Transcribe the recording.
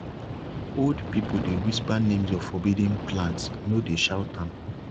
old people dey whisper names of forbidden plants no dey shout am